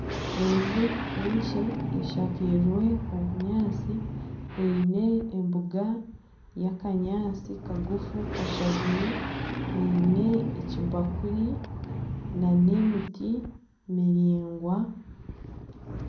Enju enkye eshakirwe obunyaantsi eine embuga y'akanyaantsi kagufu kashazire , eine ekibakuri nana emiti miringwa.